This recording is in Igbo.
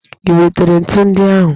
I wetere ntu ndị ahụ?